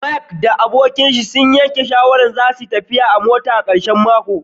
Mark da abokinshi sun yanke shawarar zasuyi tafiyar mota a karshen makon